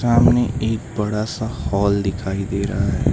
सामने एक बड़ा सा हॉल दिखाई दे रहा है।